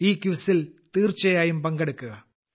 ഈ ക്വിസിൽ തീർച്ചയായും പങ്കെടുക്കുക